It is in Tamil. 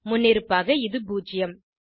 முன்னிருப்பாக இது பூஜ்ஜியம்